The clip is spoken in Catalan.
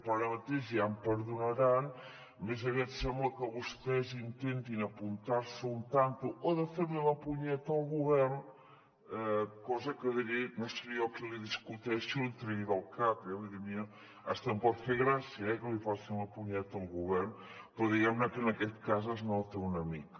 però ara mateix ja em perdonaran més aviat sembla que vostès intentin apuntar se un tanto o fer li la punyeta al govern cosa que no seré jo qui li discuteixi o li tregui del cap eh vull dir a mi fins i tot em pot fer gràcia eh que li facin la punyeta al govern però diguem ne que en aquest cas es nota una mica